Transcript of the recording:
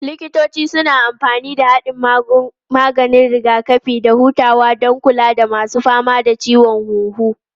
Likitoci suna amfani da haɗin maganin rigakafi da hutawa don kula da masu fama da ciwon huhu.